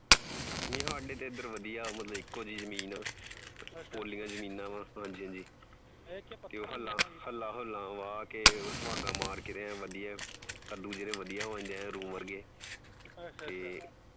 ਨੀ ਸਾਡੇ ਤਾਂ ਏਧਰ ਵਧੀਆ ਏਕੋ ਜਿਹੀ ਜਮੀਨ ਏ ਪੋਲੀਆਂ ਜਮੀਨਾਂ ਵ ਹਾਂਜੀ ਹਾਂਜੀ ਹੱਲਾ ਹੱਲਾ ਹੱਲਾ ਮਾਰ ਕੇ ਸੁਹਾਗਾ ਮਾਰਕੇ ਕੱਦੂ ਬਣ ਜਾਂਦੇ ਏਂ ਰੂੰ ਵਰਗੇ ਤੇ